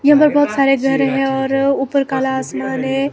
यहां पे बहुत सारे घर है और ऊपर काला आसमान है।